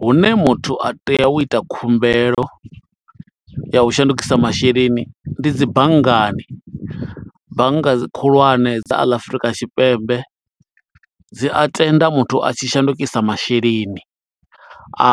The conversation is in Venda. Hune muthu a tea u ita khumbelo ya u shandukisa masheleni, ndi dzi banngani, bannga khulwane dza ḽa Afurika Tshipembe, dzi a tenda muthu a tshi shandukisa masheleni